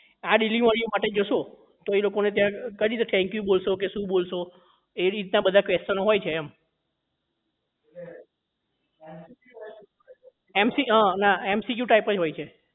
આ delivery માટે જશો તો એ લોકો ને ત્યાં કેવી રીતે thank you બોલશો કે શું બોલશો એ એ રીતના બધા question ઓ હોય છે એમ mc ક ના MCQ Type જ હોય છે